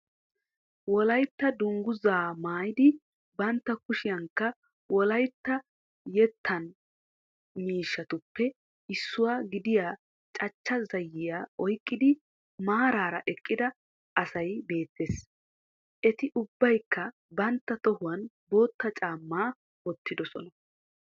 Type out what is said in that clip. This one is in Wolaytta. Wolaytta dungguzaa maayidi bantta kushiyankka wolaytta yettan miishshatuppe issuwa gidiya cachcha zayiya oykkidi maaraara eqqida asay beettees Eti ubbaykka bantta tohuwan bootta caammaa wottidosona